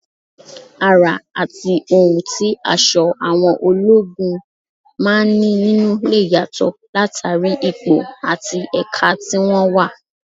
Àrà àti ohun tí aṣọ àwọn ológun máa ń nínú lè yàtọ̀ látàrí ipò àti ẹ̀ka tí wọ́n wà